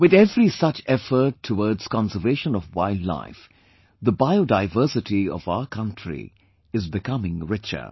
With every such effort towards conservation of wildlife, the biodiversity of our country is becoming richer